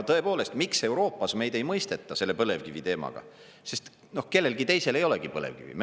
Tõepoolest, miks Euroopas meid ei mõisteta selle põlevkivi teemaga, sest kellelgi teisel ei olegi põlevkivi.